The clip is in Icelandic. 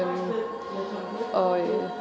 og